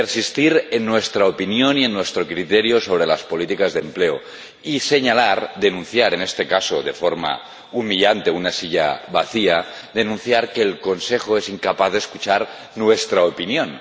Persistir en nuestra opinión y en nuestro criterio sobre las políticas de empleo y señalar, denunciar —en este caso de forma humillante, con una silla vacía—, denunciar que el Consejo es incapaz de escuchar nuestra opinión.